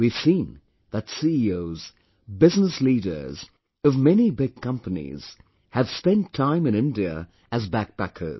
We have seen that CEOs, Business leaders of many big companies have spent time in India as BackPackers